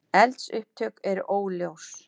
Eldsupptök eru óljós